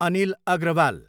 Anil Agrawal